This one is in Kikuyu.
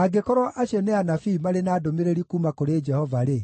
Angĩkorwo acio nĩ anabii marĩ na ndũmĩrĩri kuuma kũrĩ Jehova-rĩ,